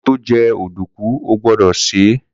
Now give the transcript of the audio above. Koto je ọ̀dùnkún o gbọ́dọ̀ sè é